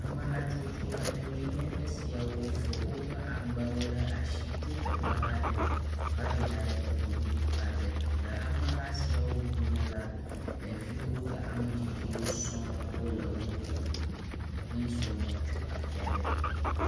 Amehatsotso aɖewoe nye esiawo fɔ wóƒe agbawó ɖe asi tso teƒeaɖe vayinaɖe teƒe bubu aɖe le amehasiawo dome la ɖeviwo kple ametsitsiwo sɔŋ wóle wó dome he zɔmɔ tso afiaɖe